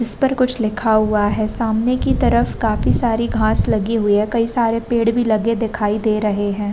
इसपर कुछ लिखा हुआ है। सामने की तरफ काफी सारी घास लगी हुई है। कई सारे पेड़ भी लगे दिखाई दे रहे हैं।